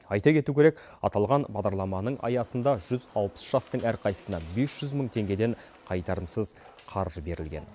айта кету керек аталған бағдарламаның аясында жүз алпыс жастың әрқайсысына бес жүз мың теңгеден қайтарымсыз қаржы берілген